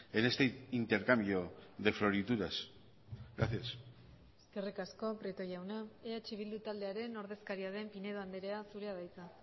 en este intercambio de florituras gracias eskerrik asko prieto jauna eh bildu taldearen ordezkaria den pinedo andrea zurea da hitza